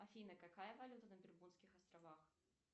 афина какая валюта на бермудских островах